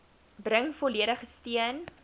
bring volledige steun